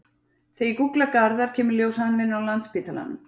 Þegar ég gúgla Garðar kemur í ljós að hann vinnur á Landspítalanum.